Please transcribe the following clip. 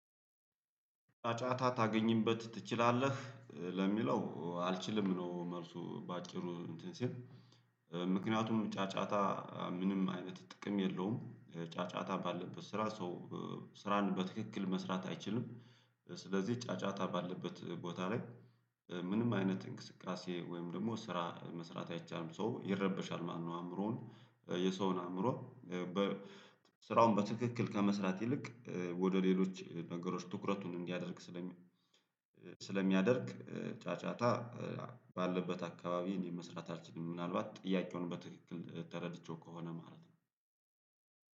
ጫጫታ ታገኝበት ትችላለህ? ለሚለው አልችልም ነው። መልሱ በአጭሩ እንትን ሲል ምክንያቱም ጫጫታ ምንም አይነት ጥቅም የለውም። ጫጫታ ባለበት ስራ ሰው ስራን በትክክል መስራት አይችልም። ስለዚህ ጫጫታ ባለበት ቦታ ላይ ምንም አይነት እንቅስቃሴ ወይም ደግሞ ስራ ለመስራት አይቻልም ሰው ይረበሻል ማለትነው። አእምሮውን የሰውን አእምሮ በ ስራውን በትክክል ከመስራት ይልቅ ወደ ሌሎች ነገሮች ትኩረቱን እንዲያደርግ ስለሚያደርግ ጫጫታ ባለበት አካባቢ ለመስራት አልችልም። ምናልባት ጥያቄውን በትክክል ተረድቼው ከሆነ ማለት ነው።